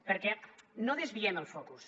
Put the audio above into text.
perquè no desviem el focus